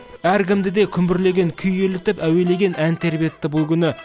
әркімді де күмбірлеген күй елітіп әуелеген ән тербетті бұл күні